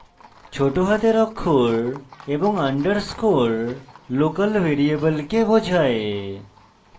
ছোট হাতের অক্ষর এবং underscore local ভ্যারিয়েবলকে বোঝায়